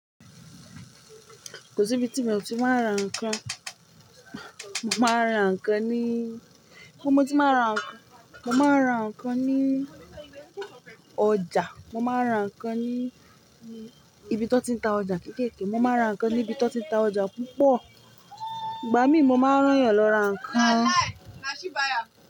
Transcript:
Kò sí ibi tí mi ò ti máa rán ǹkan. Mo máa rán ǹkan ní kí mo ti máa rán ǹkan? Mo máa rán ǹkan ní ọjà. Mo máa rán ǹkan ní ibi tó ti ń ta ọjà kéékèè. Mo máa rán ǹkan ní ibi tó ti ń ta ọjà púpọ̀. Ìgbà mí mo máa rán yàn lọ ra ǹkan.